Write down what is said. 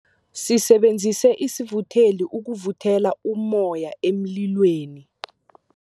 Sisebenzise isivutheli ukuvuthela ummoya emlilweni.